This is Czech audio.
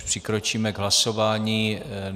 Přikročíme k hlasování.